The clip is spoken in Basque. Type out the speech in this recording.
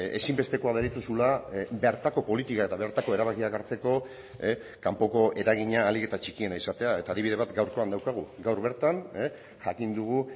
ezinbestekoa deritzozula bertako politika eta bertako erabakiak hartzeko kanpoko eragina ahalik eta txikiena izatea eta adibide bat gaurkoan daukagu gaur bertan jakin dugu